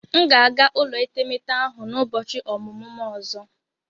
M ga-aga ụlọ etemeete ahụ n'ụbọchị ọmụmụ m ọzọ.